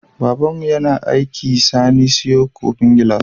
Babanmu ya aiki sani siyo kofin gilas